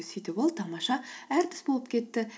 сөйтіп ол тамаша әртіс болып кетті